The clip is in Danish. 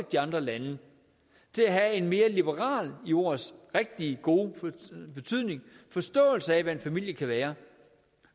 de andre lande til at have en mere liberal i ordets rigtige gode betydning forståelse af hvad en familie kan være